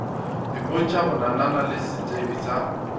ipontšha bonana le setsebi sa